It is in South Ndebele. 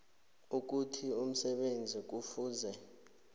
ukuthi umsebenzi kufuze